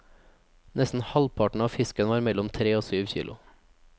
Nesten halvparten av fiskene var mellom tre og syv kilo.